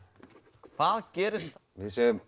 hvað gerist við segjum